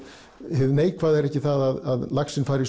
hið neikvæða er ekki það að laxinn fari